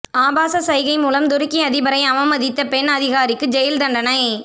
ஆபாச சைகை மூலம் துருக்கி அதிபரை அவமதித்த பெண் அதிகாரிக்கு ஜெயில் தண்டனை